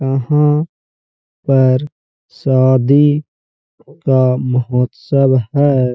यहाँ पर शादी का महोत्सव है।